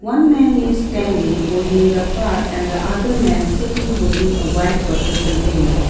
one man is standing holding the car and the other man sitting holding a white water container.